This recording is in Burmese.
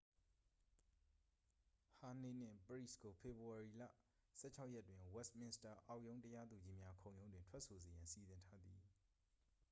ဟာနေးနှင့် ပရိစ်ကို ဖေဖော်ဝေါ်ရီလ 16 ရက်တွင် ဝက်စ်မင်စတာ အောက်ရုံးတရားသူကြီးများ ခုံရုံးတွင် ထွက်ဆိုစေရန် စီစဉ်ထားသည်